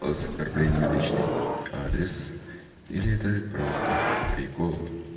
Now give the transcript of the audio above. оскорбление в личный адрес или это просто прикол